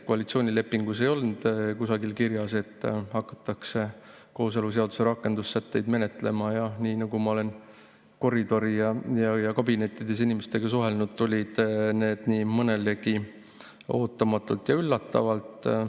Koalitsioonilepingus ei olnud kusagil kirjas, et hakatakse kooseluseaduse rakendussätteid menetlema, ja nii nagu ma olen koridoris ja kabinettides inimestega suheldes kuulnud, tulid need nii mõnelegi ootamatult ja üllatavalt.